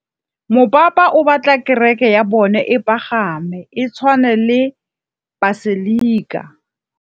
Mopapa o batla kereke ya bone e pagame, e tshwane le paselika.